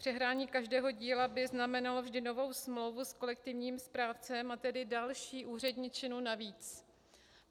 Přehrání každého díla by znamenalo vždy novou smlouvu s kolektivním správcem, a tedy další úředničinu navíc.